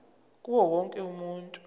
kuwo wonke umuntu